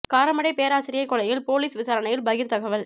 காரமடை பேராசிரியை கொலையில் போலீஸ் விசாரணையில் பகீர் தகவல்